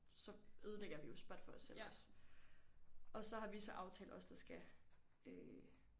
Så ødelægger vi jo SPOT for os selv også og så har vi så aftalt os der skal øh